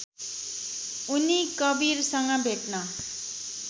उनी कवीरसँग भेट्न